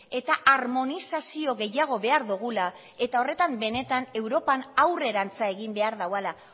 kentzeko eta harmonizazio gehiago behar dugula eta horretan benetan europan aurrerantz egin behar